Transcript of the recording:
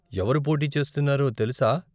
ఎవరు పోటీ చేస్తున్నారో తెలుసా?